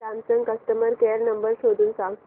Samsung customer care number शोधून सांग